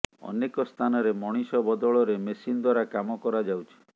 ଅନେକ ସ୍ଥାନରେ ମଣିଷ ବଦଳରେ ମେସିନ ଦ୍ୱାରା କାମ କରାଯାଉଛି